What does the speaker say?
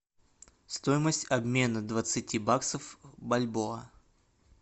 стоимость обмена двадцати баксов в бальбоа